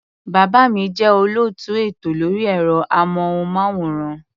Bàbá mi jẹ́ olóòtú ètò lórí ẹ̀rọ-amóhùnmáwòrán.